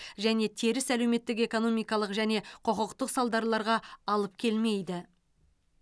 және теріс әлеуметтік экономикалық және құқықтық салдарларға алып келмейді